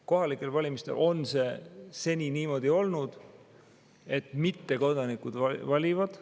Kohalikel valimistel on seni niimoodi olnud, et ka mittekodanikud valivad.